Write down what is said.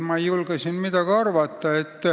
Ma ei julge siin midagi arvata.